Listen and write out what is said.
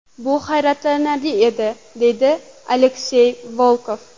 Bu hayratlanarli edi”, deydi Aleksey Volkov.